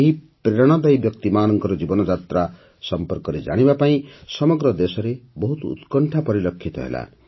ଏହି ପ୍ରେରଣାଦାୟୀ ବ୍ୟକ୍ତିମାନଙ୍କ ଜୀବନଯାତ୍ରା ସମ୍ପର୍କରେ ଜାଣିବା ପାଇଁ ସମଗ୍ର ଦେଶରେ ବହୁତ ଉତ୍କଣ୍ଠା ପରିଲକ୍ଷିତ ହେଲା